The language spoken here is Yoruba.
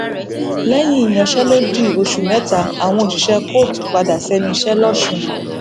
lẹyìn ìyanṣẹlódì oṣù mẹta àwọn òṣìṣẹ kóòtù padà sẹnu iṣẹ lọsùn